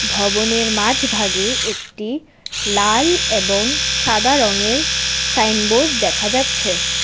ভবনের মাঝ ভাগে একটি লাল এবং সাদা রঙের সাইনবোর্ড দেখা যাচ্ছে ।